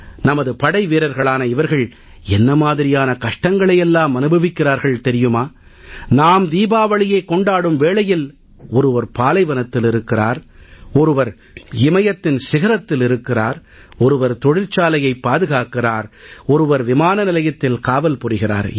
நமது படைவீரர்களான இவர்கள் என்ன மாதிரியான கஷ்டங்களை எல்லாம் அனுபவிக்கிறார்கள் தெரியுமா நாம் தீபாவளியைக் கொண்டாடும் வேளையில் ஒருவர் பாலைவனத்தில் இருக்கிறார் ஒருவர் இமயத்தின் சிகரத்தில் இருக்கிறார் ஒருவர் தொழிற்சாலையைப் பாதுகாக்கிறார் ஒருவர் விமானநிலையத்தில் காவல் புரிகிறார்